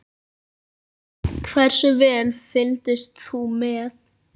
Hversu vel fylgdist þú með?